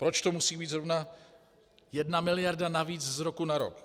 Proč to musí být zrovna jedna miliarda navíc z roku na rok?